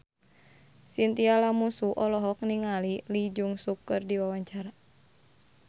Chintya Lamusu olohok ningali Lee Jeong Suk keur diwawancara